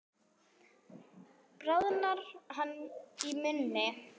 Bráðnar hann í munni?